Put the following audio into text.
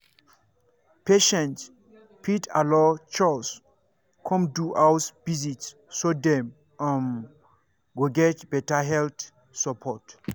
patients fit allow chws come do house visit so dem um go get better health support.